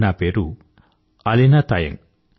నా పేరు అలీనా తాయంగ్